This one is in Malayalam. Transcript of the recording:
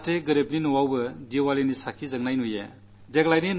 ഇതിലൂടെ ദരിദ്രന്റെ വീട്ടിലും ദീപാവലിയുടെ ദീപം തെളിയാനിടയാകും